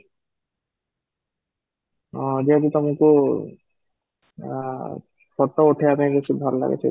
ହଁ, ଯେହେତୁ ତମକୁ ଆଁ photo ଉଠେଇବା ପାଇଁ କିଛି ଭଲ ଲାଗୁଛି